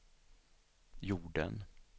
jorden